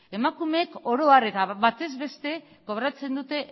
emakumeek oro har eta batez beste kobratzen dute